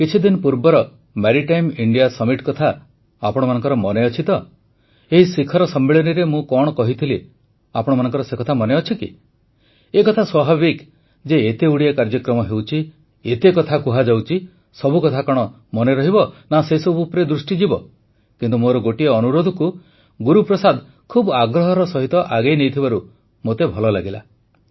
କିଛିଦିନ ପୂର୍ବର Maritime India Summit କଥା ଆପଣମାନଙ୍କର ମନେଅଛି ତ ଏହି ଶିଖର ସମ୍ମିଳନୀରେ ମୁଁ କଣ କହିଥିଲି ଆପଣଙ୍କର ମନେଅଛି କି ଏକଥା ସ୍ୱାଭାବିକ ଯେ ଏତେଗୁଡ଼ିଏ କାର୍ଯ୍ୟକ୍ରମ ହେଉଛି ଏତେ କଥା କୁହାଯାଉଛି ସବୁ କଥା କଣ ମନେ ରହିବ ନା ସେସବୁ ଉପରେ ଦୃଷ୍ଟିଯିବ କିନ୍ତୁ ମୋର ଗୋଟିଏ ଅନୁରୋଧକୁ ଗୁରୁପ୍ରସାଦ ଖୁବ ଆଗ୍ରହର ସହିତ ଆଗେଇ ନେଇଥିବାରୁ ମୋତେ ଭଲ ଲାଗିଲା